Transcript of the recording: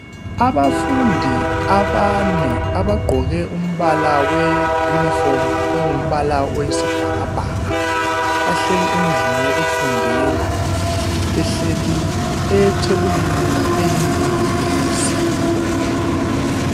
Abafundi abane abagqoke umbala weyunifomu ongumbala wesibhakabhaka bahleli endlini yokufundela behleli ethebulini eyindingilizi